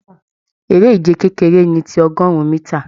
Eré ìje kekere ní tí ọgọrun mítà.